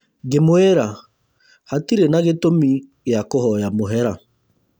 Ngĩmũĩra, hatirĩ na gĩtũmi gĩa kũhoya mũhera